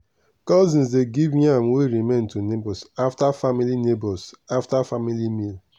cousin dey give yam wey remain to neighbours after family neighbours after family meal.